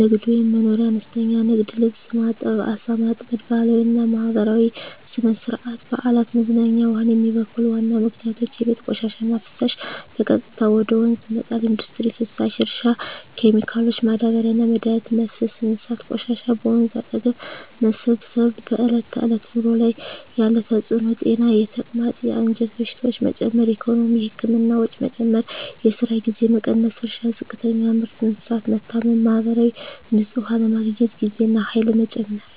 ንግድ/መኖርያ – አነስተኛ ንግድ (ልብስ ማጠብ፣ ዓሣ ማጥመድ) ባህላዊና ማህበራዊ – ሥነ-ሥርዓት፣ በዓላት፣ መዝናኛ ውሃን የሚበክሉ ዋና ምክንያቶች የቤት ቆሻሻና ፍሳሽ – በቀጥታ ወደ ወንዝ መጣል ኢንዱስትሪ ፍሳሽ – እርሻ ኬሚካሎች – ማዳበሪያና መድኃኒት መፍሰስ እንስሳት ቆሻሻ – በወንዝ አጠገብ መሰብሰብ በዕለት ተዕለት ኑሮ ላይ ያለ ተጽዕኖ ጤና – የተቅማጥ፣ የአንጀት በሽታዎች መጨመር ኢኮኖሚ – የህክምና ወጪ መጨመር፣ የስራ ጊዜ መቀነስ እርሻ – ዝቅተኛ ምርት፣ እንስሳት መታመም ማህበራዊ – ንጹህ ውሃ ለማግኘት ጊዜና ኃይል መጨመር